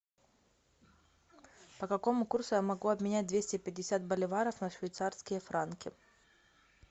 по какому курсу я могу обменять двести пятьдесят боливаров на швейцарские франки